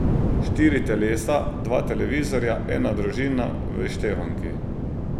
Štiri telesa, dva televizorja, ena družina, v izštevanki.